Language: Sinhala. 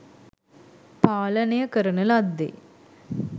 පාලනය කරන ලද්දේ